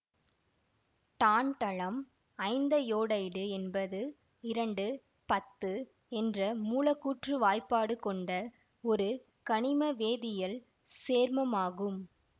tantalum ஐந்தயோடைடு என்பது இரண்டு பத்து என்ற மூலக்கூற்று வாய்ப்பாடு கொன்ட ஒரு கனிம வேதியியல் சேர்மமாகும்